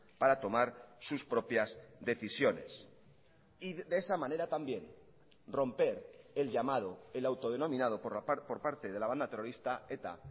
para tomar sus propias decisiones y de esa manera también romper el llamado el autodenominado por parte de la banda terrorista eta